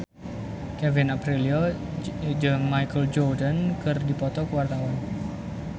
Kevin Aprilio jeung Michael Jordan keur dipoto ku wartawan